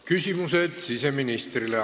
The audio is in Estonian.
Küsimused siseministrile.